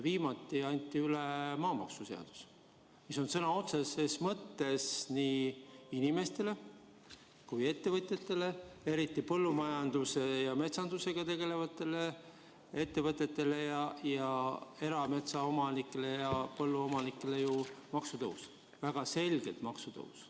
Viimati anti üle maamaksuseaduse eelnõu, mis tähendab sõna otseses mõttes nii inimestele kui ka ettevõtjatele, eriti põllumajanduse ja metsandusega tegelevatele ettevõtjatele, erametsaomanikele ja põlluomanikele maksutõusu, väga selget maksutõusu.